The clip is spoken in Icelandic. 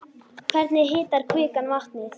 Hvernig hitar kvikan vatnið?